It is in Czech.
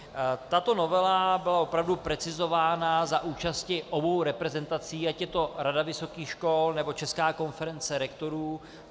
Tato novela byla opravdu precizována za účasti obou reprezentací, ať je to Rada vysokých škol, nebo Česká konference rektorů.